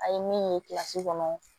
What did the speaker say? A ye min ye kɔnɔ